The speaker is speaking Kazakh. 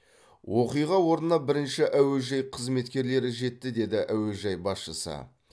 оқиға орнына бірінші әуежай қызметкерлері жетті деді әуежай басшысы